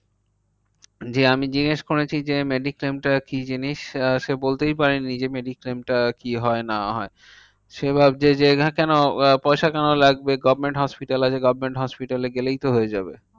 যে আমি জিজ্ঞেস করেছি যে mediclaim টা কি জিনিস? আহ সে বলতেই পারেনি যে mediclaim টা কি হয় না হয়? সে ভাবছে যে এরা কেন পয়সা কেন লাগবে government hospital আছে government hospital এ গেলেই তো হয়ে যাবে। হম